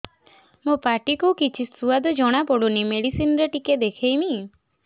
ମୋ ପାଟି କୁ କିଛି ସୁଆଦ ଜଣାପଡ଼ୁନି ମେଡିସିନ ରେ ଟିକେ ଦେଖେଇମି